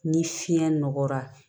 Ni fiɲɛ nɔgɔyara